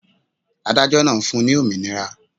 Adájọ́ náà fun ní òmìnira.